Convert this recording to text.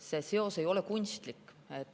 See seos ei ole kunstlik.